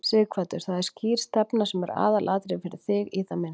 Sighvatur: Það er skýr stefna sem er aðalatriðið fyrir þig, í það minnsta?